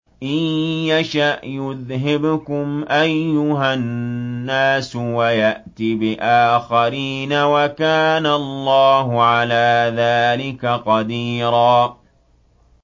إِن يَشَأْ يُذْهِبْكُمْ أَيُّهَا النَّاسُ وَيَأْتِ بِآخَرِينَ ۚ وَكَانَ اللَّهُ عَلَىٰ ذَٰلِكَ قَدِيرًا